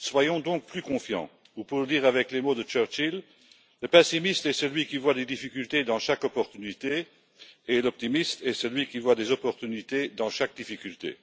Soyons donc plus confiants ou, pour le dire avec les mots de Churchill, le pessimiste est celui qui voit des difficultés dans chaque opportunité, et l'optimiste est celui qui voit des opportunités dans chaque difficulté.